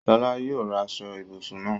Sọlá yóò ra aṣọ-ìbùsùn náà.